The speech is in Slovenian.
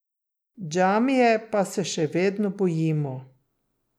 Džamije pa se še vedno bojimo.